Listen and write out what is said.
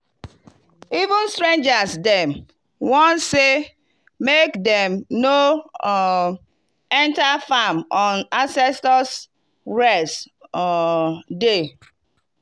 even strangers dem warn say make dem no um enter farm on ancestors rest um day.